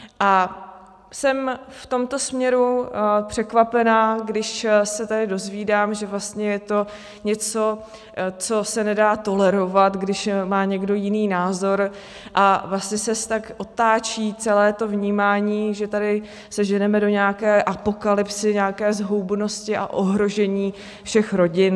A jsem v tomto směru překvapená, když se tady dozvídám, že vlastně je to něco, co se nedá tolerovat, když má někdo jiný názor, a vlastně se tak otáčí celé to vnímání, že tady se ženeme do nějaké apokalypsy, nějaké zhoubnosti a ohrožení všech rodin.